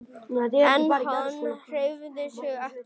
En hann hreyfði sig ekki.